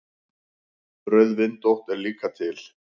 Rauðvindótt er líka til.